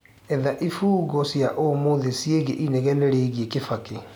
etha ifungo cĩaũmũthĩ ciĩgie inegene riigie kibaki